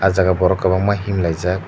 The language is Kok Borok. o jaga borok kwbangma himlai jak.